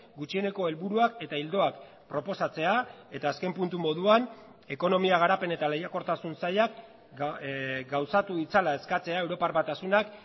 gutxieneko helburuak eta ildoak proposatzea eta azken puntu moduan ekonomia garapen eta lehiakortasun sailak gauzatu ditzala eskatzea europar batasunak